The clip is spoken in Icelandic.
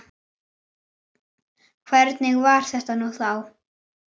Þannig var þetta nú þá.